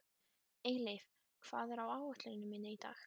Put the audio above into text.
Eyleif, hvað er á áætluninni minni í dag?